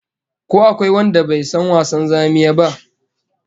Ko akwai wanda bai san wasan zamiya ba?